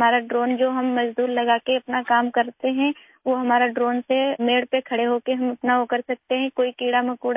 ہم اپنے ڈرون کا استعمال کرتے ہوئے مزدوروں کو کام پر لگا کر اپنا کام کر سکتے ہیں، کھیت کے اندر کھڑے ہو کر اپنا کام کر سکتے ہیں،